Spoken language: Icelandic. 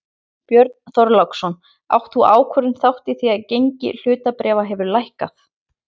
Björn Þorláksson: Átti sú ákvörðun þátt í því að gengi hlutabréfa hefur lækkað?